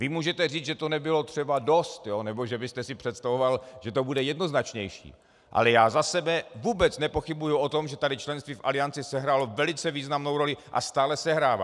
Vy můžete říct, že to nebylo třeba dost nebo že byste si představoval, že to bude jednoznačnější, ale já za sebe vůbec nepochybuji o tom, že tady členství v Alianci sehrálo velice významnou roli a stále sehrává.